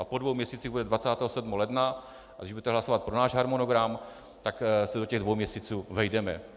A po dvou měsících bude 27. ledna, a když budete hlasovat pro náš harmonogram, tak se do těch dvou měsíců vejdeme.